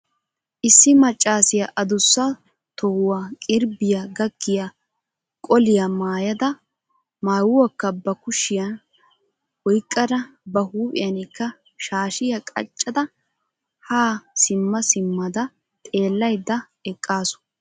issi maccassiya addussa tohuwaa qirbbiyaa gakkiya qoliyaa maayyada maayuwakka ba kushiyan oyqqada ba huphiyankka shaashshiya qachchada ha simma simmada xeellaydda eqqaasu.